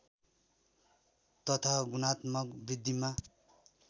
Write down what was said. तथा गुणात्मक वृद्धिमा